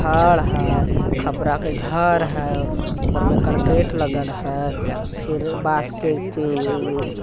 घर है खपरा के घहर है ऊपर में अकराल लगल है फिर बास्केट अ- ह- म--